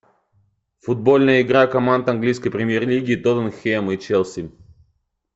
футбольная игра команд английской премьер лиги тоттенхэм и челси